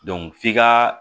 f'i ka